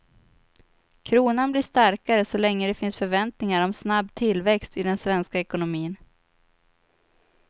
Kronan blir starkare så länge det finns förväntningar om snabb tillväxt i den svenska ekonomin.